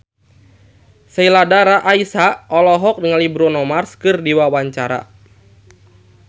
Sheila Dara Aisha olohok ningali Bruno Mars keur diwawancara